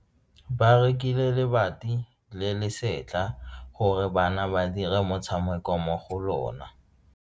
Ba rekile lebati le le setlha gore bana ba dire motshameko mo go lona.